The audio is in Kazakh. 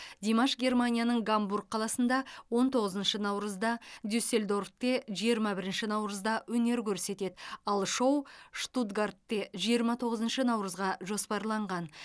димаш германияның гамбург қаласында он тоғызыншы наурызда дюссельдорфте жиырма бірінші наурызда өнер көрсетеді ал шоу штутгартте жиырма тоғызыншы наурызға жоспарланған